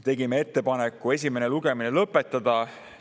Tegime ettepaneku esimene lugemine lõpetada.